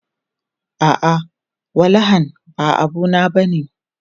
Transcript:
A'a, walahan ba abu na bane.